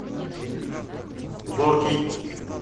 зоркий